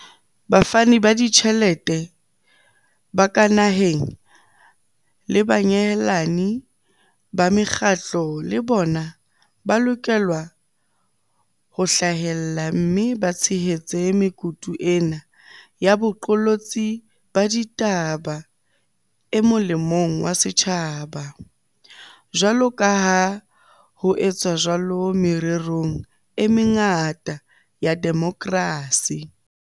Bafani ba ditjhelete ba ka naheng le banyehelani ba mekgatlo le bona ba lokela ho hlahella mme ba tshehetse mekutu ena ya boqolotsi ba ditaba e mo lemong wa setjhaba, jwaloka ha ho etswa jwalo mererong e mengata ya demokrasi.